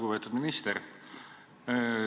Lugupeetud minister!